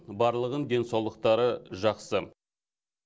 барлығының денсаулықтары жақсы